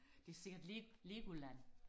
det ser lidt Legoland